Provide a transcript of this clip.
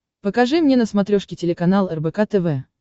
покажи мне на смотрешке телеканал рбк тв